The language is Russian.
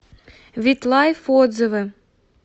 витлайф отзывы